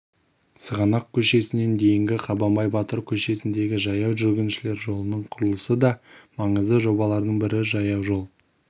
сығанақ көшесінен дейінгі қабанбай батыр көшесіндегі жаяу жүргіншілер жолының құрылысы да маңызды жобалардың бірі жаяужол